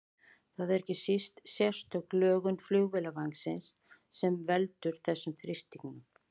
Það er ekki síst sérstök lögun flugvélarvængsins sem veldur þessum þrýstingsmun.